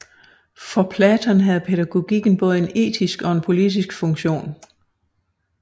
For Platon havde pædagogikken både en etisk og en politisk funktion